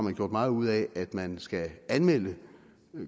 er gjort meget ud af at man skal anmelde